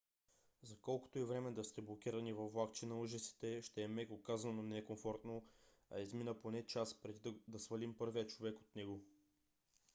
за колкото и време да сте блокирани във влакче на ужасите ще е меко казано некомфортно а измина поне час преди да свалим първия човек от него.